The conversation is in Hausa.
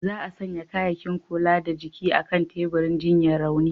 Za'a sanya kayakin kula da jiki a'kan teburin jinyar raunin.